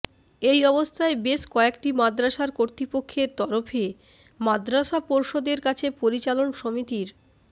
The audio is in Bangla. এই অবস্থায় বেশ কয়েকটি মাদ্রাসার কর্তৃপক্ষের তরফে মাদ্রাসা পর্ষদের কাছে পরিচালন সমিতির